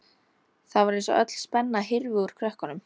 Það var eins og öll spenna hyrfi úr krökkunum.